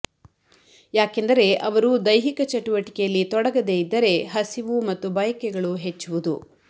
ಯಾಕೆಂದರೆ ಅವರು ದೈಹಿಕ ಚಟುವಟಿಕೆಯಲ್ಲಿ ತೊಡಗದೆ ಇದ್ದರೆ ಹಸಿವು ಮತ್ತು ಬಯಕೆಗಳು ಹೆಚ್ಚುವುದು